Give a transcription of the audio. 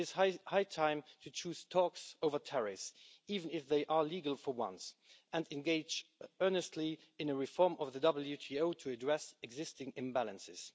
It is high time to choose talks over tariffs even if they are legal for once and engage earnestly in a reform of the WTO to address existing imbalances.